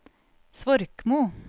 Svorkmo